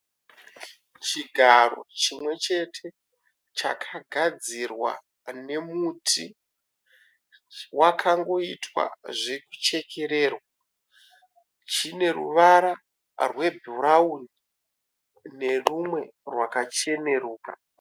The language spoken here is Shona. Chigaro chimwechete chakagadzirwa nemuti wakangoitwa zvekuchekurerwa chine ruvara rwebhurauni nerumwe rakacheneruka.